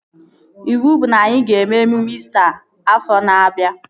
Iwu bụ na anyị ga-eme emume İsita afọ na-abịa